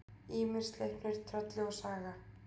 Ýmir, Sleipnir, Trölli og Saga.